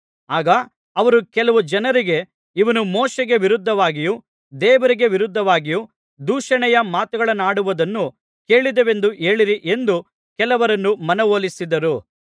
ಆಗ ಅವರು ಕೆಲವು ಜನರಿಗೆ ಇವನು ಮೋಶೆಗೆ ವಿರೋಧವಾಗಿಯೂ ದೇವರಿಗೆ ವಿರೋಧವಾಗಿಯೂ ದೂಷಣೆಯ ಮಾತುಗಳನ್ನಾಡುವುದನ್ನು ಕೇಳಿದೆವೆಂದು ಹೇಳಿರಿ ಎಂದು ಕೆಲವರನ್ನು ಮನವೊಲಿಸಿದರು